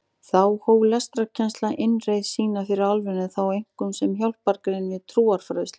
Þá hóf lestrarkennsla innreið sína fyrir alvöru en þá einkum sem hjálpargrein við trúfræðsluna.